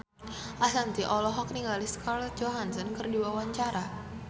Ashanti olohok ningali Scarlett Johansson keur diwawancara